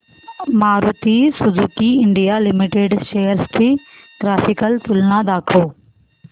Maruti Suzuki India limited shares ची graphical तुलना दाखव